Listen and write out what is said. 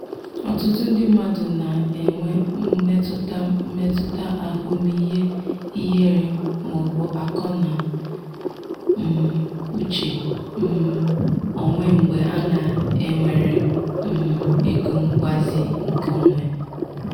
ọtụtụ ndị mmadụ na-enwe mmetụta mmetụta ahụmihe ihere ma ọ bụ akọ na um uche um onwe mgbe a na-ewere um ego mgbazi nke onwe.